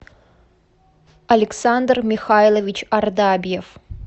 александр михайлович ардабьев